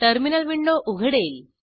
terminal window उघडेल